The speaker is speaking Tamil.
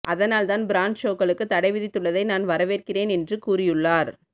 அதனால்தான் பிராண்ட் ஷோக்களுக்கு தடை விதித்துள்ளதை நான் வரவேற்கிறேன் என்று கூறியுள்ளார்